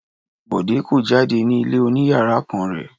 Bọ̀dé kó jáde ní ilé oníyàrá kan rẹ̀?